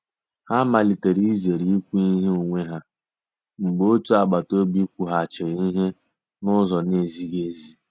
Ha malitere izere ikwu ihe onwe ha mgbe otu agbata obi kwughachiri ihe n'uzo na-ezighị ezi.